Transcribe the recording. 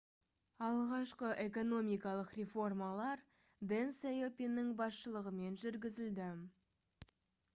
алғашқы экономикалық реформалар дэн сяопиннің басшылығымен жүргізілді